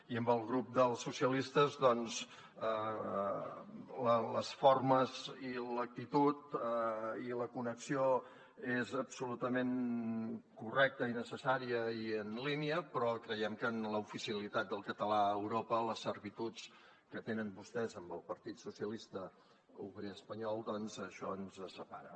i amb el grup dels socialistes doncs les formes i l’actitud i la connexió són absolutament correctes i necessàries i en línia però creiem que en l’oficialitat del català a europa les servituds que tenen vostès amb el partit socialista obrer espanyol doncs això ens separa